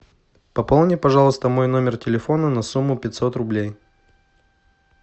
пополни пожалуйста мой номер телефона на сумму пятьсот рублей